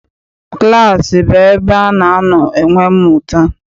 Klaasị bụ ebe ana anọ enwe mmụta.